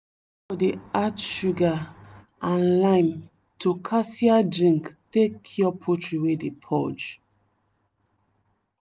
my neighbor dey add sugar and lime to cassia drink take cure poultry wey dey purge.